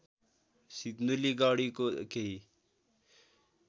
सिन्धुली गढीको केही